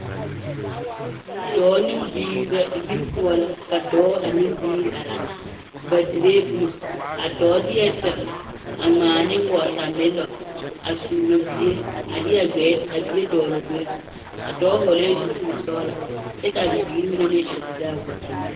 Dɔɔ ne biiri la yiri poɔ la ka dɔɔ ane biiri a zeŋ ba diree boma a dɔɔ deɛ tere a ŋmaa neŋ wɔɔtamelɔ a suuro bie a deɛ a bie dɔgle o gbɛɛ zu a dɔɔ hɔɔlɛɛ zupili sɔgelaa kyɛ ka a bibiiri mine meŋ are dire a wɔtamelɔ.